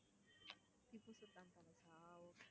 திப்பு சுல்தான் பேலஸா okay